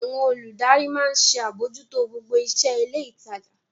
Àwọn olùdarí maa ń ṣe àbójútó gbogbo iṣẹ́ ilé ìtajà.